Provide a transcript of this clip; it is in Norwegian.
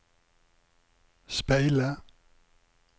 speile